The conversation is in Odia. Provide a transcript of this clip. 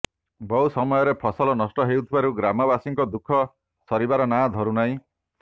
ବହୁ ସମୟରେ ଫସଲ ନଷ୍ଟ ହେଉଥିବାରୁ ଗ୍ରାମବାସୀଙ୍କ ଦୁଖଃ ସରିବାର ନାଁ ଧରୁନାହିଁ